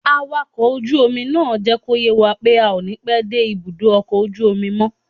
Awakọ̀ ojú omi náà jẹ́ kó yé wa pé a ò ní pẹ́ dé ibùdó ọkọ̀ ojú omi mọ́